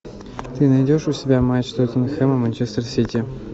ты найдешь у себя матч тоттенхэма и манчестер сити